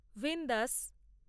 ভিনদেয়াস